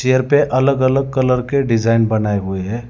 Chair पे अलग अलग कलर के डिजाइन बनाए हुए हैं।